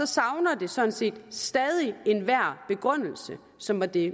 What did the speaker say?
savner det sådan set stadig enhver begrundelse som var det